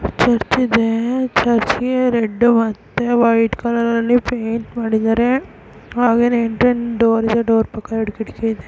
ಚರ್ಚಿದೆ ಚರ್ಚೆ ಗೆ ರೆಡ್ಡು ಮತ್ತೆ ವೈಟ್ ಕಲರ ಲ್ಲಿ ಪೈಂಟ್ ಮಾಡಿದರೆ ಹಾಗೇನೆ ಎಂಟ್ರೆನ್ಸ್ ಡೋರ್ ಇದೆ ಡೋರ್ ಪಕ್ಕ ಎರಡು ಕಿಟಕಿ ಇದೆ.